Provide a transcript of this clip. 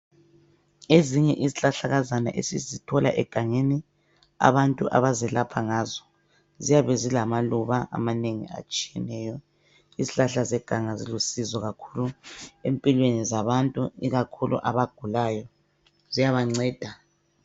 Ezinye izihlahlakazana esizithola egangeni abantu abazelapha ngazo ziyabe zilamaluba amanengi atshiyeneyo. Izihlahla zeganga zilusizo kakhulu empilweni zabantu ikakhulu abagulayo ziyabanceda.